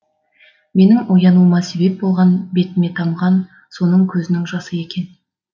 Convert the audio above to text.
менің оянуыма себеп болған бетіме тамған соның көзінің жасы екен